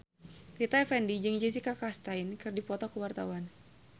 Rita Effendy jeung Jessica Chastain keur dipoto ku wartawan